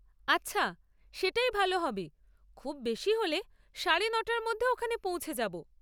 আচ্ছা, সেটাই ভালো হবে, খুব বেশি হলে সাড়ে নটার মধ্যে ওখানে পৌঁছে যাব।